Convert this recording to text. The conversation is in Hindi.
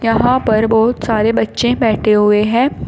यहां पर बहुत सारे बच्चे बैठे हुए हैं।